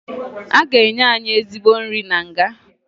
A ga-enye anyị ezigbo nri na nga